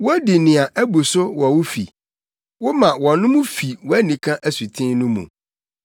Wodi nea abu so wɔ wo fi, woma wɔnom fi wʼanika asuten no mu.